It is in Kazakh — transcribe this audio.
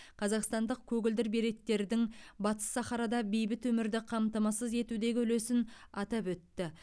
қазақстандық көгілдір береттердің батыс сахарада бейбіт өмірді қамтамасыз етудегі үлесін атап өтті